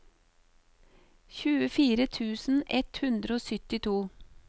tjuefire tusen ett hundre og syttito